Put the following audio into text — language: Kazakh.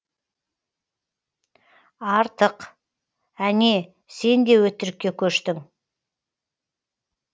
артық әне сен де өтірікке көштің